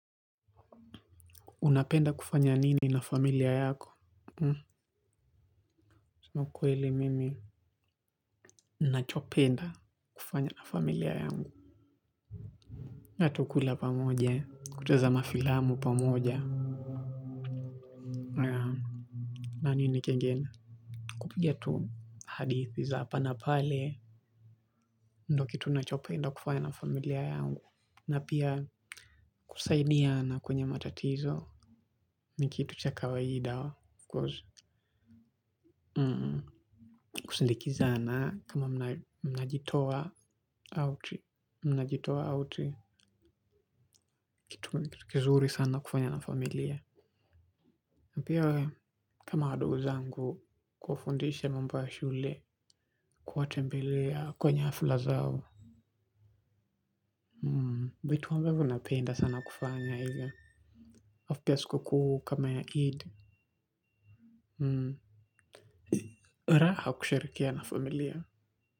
Unapenda kufanya nini na familia yako kusema ukweli mimi ninachopenda kufanya na familia yangu. Na tu kula pamoja. Kutazama filamu pamoja. Na nini kingine? Kupiga hadithi za hapa na pale. Ndio kitu ninachopenda kufanya na familia yangu. Na pia kusaidiana kwenye matatizo. Ni kitu cha kawaida. Kusindikizana kama mnajitoa. Au kitu kizuri sana kufanya na familia pia we kama ndugu zangu kuwafundisha mambo ya shule kuwatembelea kwenye hafla zao vitu ambavyo napenda sana kufanya hivyo. Alafu pia siku kuu kama ya Eid raha kusherehekea na familia.